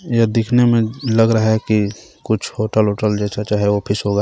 यह दिखने मे लग रहा है की कुछ होटल वोटल जैसा चाहे ऑफिस होगा.